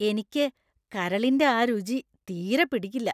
എനിക്ക് കരളിന്‍റെ ആ രുചി തീരെ പിടിക്കില്ല.